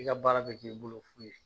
I ka baara kɛ k'i bolo fu ye